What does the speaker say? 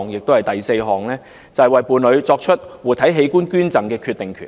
第四，為伴侶作出活體器官捐贈的決定權。